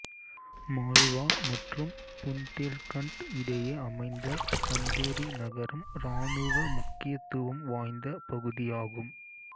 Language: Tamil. மால்வா மற்றும் புந்தேல்கண்ட் இடையே அமைந்த சந்தேரி நகரம் இராணுவ முக்கியத்துவம் வாய்ந்த பகுதியாகும்